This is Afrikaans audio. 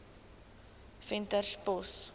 venterspost